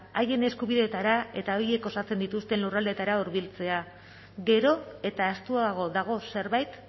haien eskubideetara eta horiek osatzen dituzten lurraldeetara hurbiltzea gero eta ahaztuago dago zerbait